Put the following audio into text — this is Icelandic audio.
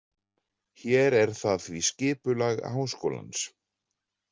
Hér er það því skipulag Háskólans.